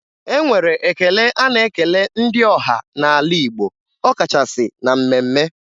E nwere ekele a na-ekele ndị ọha n'ala Igbo ọkachasị na mmemme.